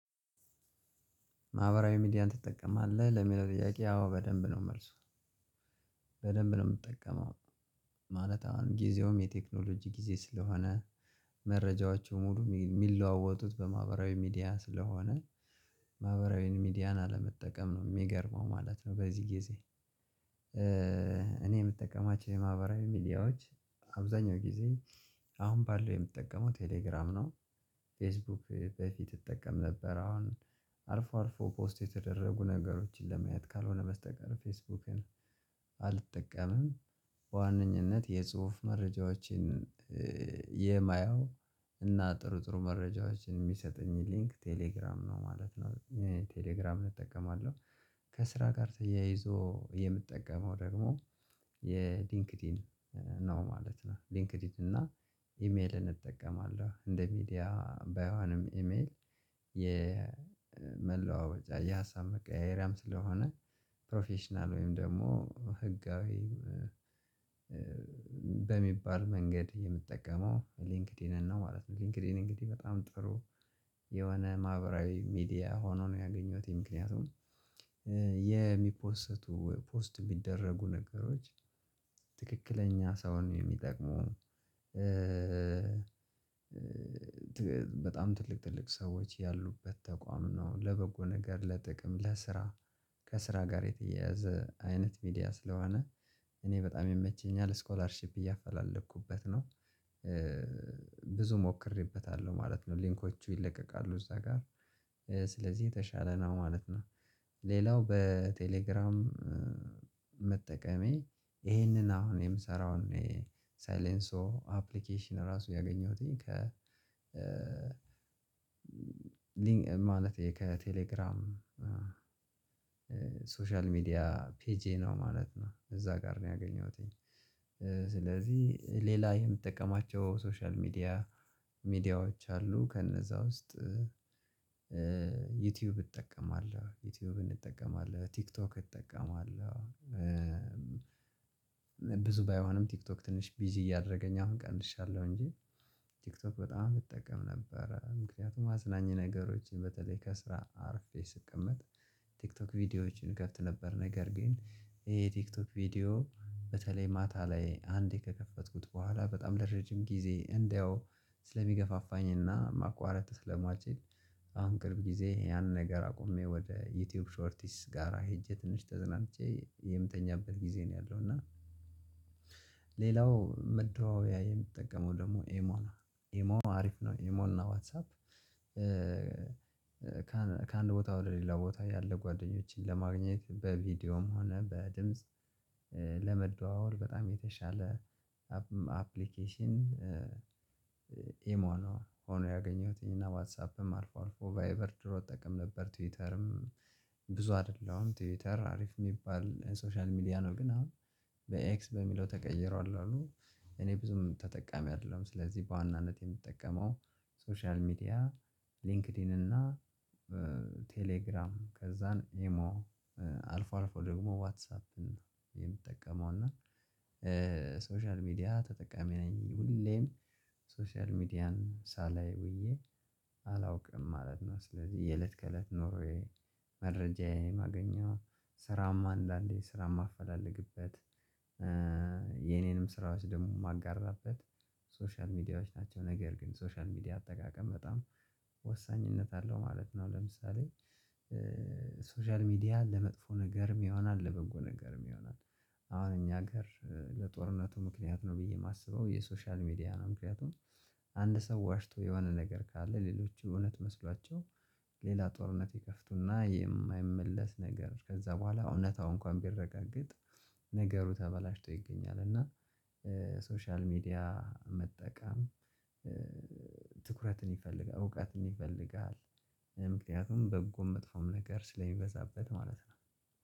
ማህበራዊ ሚዲያን ትጠቀማለህ ለሚለው ጥያቄ አዎ በደንብ ነው መልሱ። በደንብ ነው የምጠቀመው። ማለት አሁን ጊዜውም የቴክኖሎጂ ጊዜ ስለሆነ መረጃዎች ሙሉ እሚለዋወጡት በማህበራዊ ሚዲያ ስለሆነ ማህበራዊ ሚዲያን አለመጠቀም ነው እሚገርመው ማለት ነው። በዚህ ጊዜ። እኔ የምጠቀማቸው የማህበራዊ ሚዲያዎች አብዛኛው ጊዜ አሁን ባለው የምጠቀመው ቴሌግራም ነው። ፌስቡክ በፊት እጠቀም ነበር አሁን አልፎ አልፎ ፖስት የተደረጉ ነገሮችን ለማየት ካልሆነ በስተቀር ፌስቡክን አልጠቀምም። በዋነኝነት የጽሁፍ መረጃዎችን የማያው እና ጥሩጥሩ መረጃዎችን እሚሰጠኝን ሊንክ ቴሌግራም ነው ማለት ነው ቴሌግራምን እጠቀማለሁ። ከስራ ጋር ተያይዞ የምጠቀመው ደግሞ የሊንክድኢን ነው ማለት ነው። ሊንክድኢን እና ኢሜልን እጠቀማለሁ እንደ ሚዲያ ባይሆንም ኢሜል የመለዋወጫ የሀሳብ መቀያየሪያም ስለሆነ ፕሮፌሽናል ወይም ደግሞ ህጋዊ በሚባል መንገድ የምጠቀመው ሊንክዲንን ነው ማለት ነው። ሊንክዲን እንግዲህ በጣም ጥሩ የሆነ ማህበራዊ ሚዲያ ሆኖ ነው ያገኘሁት ምክንያቱም። የሚፖሰቱ ፖስት የሚደረጉ ነገሮች ትክክለኛ ሰውን የሚጠቅሙ። በጣም ትልቅ ትልቅ ሰዎች ያሉበት ተቋም ነው ለበጎ ነገር ለጥቅም ለስራ ከስራ ጋር የተያያዘ አይነት ሚዲያ ስለሆነ እኔ በጣም ይመቸኛል ስኮላርሺፕ እያፈላለኩበት ነው። ብዙ ሞክሬበታለሁ ማለት ነው ሊንኮቹ ይለቀቃሉ እዛ ጋር ስለዚህ የተሻለ ነው ማለት ነው። ሌላው በቴሌግራም መጠቀሜ ይሄንን አሁን የምሰራው ይሄ ሳይለንሶዮ አፕሊኬሽን ራሱ ያገኘሁትኝ ከ ሊን ማለት ከቴሌግራም ሶሻል ሚዲያ ፔጄ ነው ማለት ነው እዛ ጋር ነው ያገኘሁትኝ። ስለዚህ ሌላ የምጠቀማቸው ሶሻል ሚዲያ ሚዲያዎች አሉ ከነዛ ውስጥ ዩቲዩብ እጠቀማለሁ ዩቲዩብን እጠቀማለሁ ቲክቶክ እጠቀማለሁ ብዙ ባይሆንም ቲክቶክ ትንሽ ቢዚ እያደረገኝ አሁን ቀንሻለሁ። እንጂ ቲክቶክ በጣም እጠቀም ነበረ ምክንያቱም አዝናኝ ነገሮችን በተለይ ከስራ አርፌ ስቀመጥ። ቲክቶክ ቪዲዮዎችን ከፍት ነበር ነገር ግን የ ቲክቶክ ቪዲዮ በተለይ ማታ ላይ አንዴ ከከፈትኩት በኋላ በጣም ለረጅም ጊዜ እንዳየው ስለሚገፋፋኝና ማቋረጥ ስለማችል። አሁን ቅርብ ጊዜ ያንን ነገር አቁሜ ወደ ዩቲዩብ ሾርቲስ ጋራ ሄጄ ትንሽ ተዝናንቼ የምተኛኛበት ጊዜ ነው ያለው እና። ሌላው መደዋወያ የምትጠቀመው ደግሞ ኤሞ ኤሞ አሪፍ ነው ኤሞና ዋትሳፕ። ከአንድ ቦታው ወደ ሌላ ቦታ ያለ ጓደኞቼን ለማግኘት በቪዲዮም ሆነ በድምጽ ለመደዋወል በጣም የተሻለ አፕሊኬሽን። ኢሞ ነው ሆኖ ያገኘሁትኝ ዋትሳፕም አልፎ አልፎ ቫይበር ድሮ እጠቀም ነበር ትዊተርም። ብዙ አይደለሁም ትዊተር አሪፍ እሚባል ሶሻል ሚዲያ ነው ግን አሁን በኤክስ በሚለው ተቀይሯል አሉ እኔ ብዙም ተጠቃሚ አይደለሁም። ስለዚህ በዋናነት የምትጠቀመው ሶሻል ሚዲያ ሊንክድኢን እና ቴሌግራም ከዛን ኢሞ አልፎ አልፎ ደግሞ ዋትሳፕን የምጠቀመው እና ሶሻል ሚዲያ ተጠቃሚ ነኝ ሁሌም ሶሻል ሚዲያን ሳላይ ውዬ አላውቅም ማለት ነው። ስለዚህ የለት ከለት ኑርዌይ መረጃዬን ማገኛው ስራማ አንዳንዴ ስራ እማፈላለግበት የኔንም ስራዎች ደግሞ እማጋራበት ሶሻል ሚዲያዎች ናቸው። ነገር ግን ሶሻል ሚዲያ አጠቃቀም በጣም ወሳኝነት አለው ማለት ነው። ለምሳሌ ሶሻል ሚዲያ ለመጥፎ ነገርም ይሆናል ለበጎ ነገርም ይሆናል። አሁን እኛ አገር ለጦርነቱ ምክንያት ነው ብዬ የማስበው የሶሻል ሚዲያ ነው ምክንያቱም። አንድ ሰው ዋሽቶ የሆነ ነገር ካለ ሌሎች የእውነት መስሏቸው ሌላ ጦርነት ባይከፍቱና የማይመለስ ነገር ከዛ በኋላ እውነታው እንኳን ቢረጋገጥ። ነገሩ ተበላሽቶ ይገኛል። እና ሶሻል ሚዲያ መጠቀም ትኩረትን ይፈልጋል እውቀትን ይፈልጋል። ምክንያቱም በጎም መጥፎም ነገር ስለሚበዛበት ማለት ነው